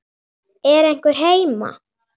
Er einhver heima?